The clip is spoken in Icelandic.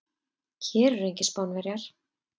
Hér eru engir Spánverjar.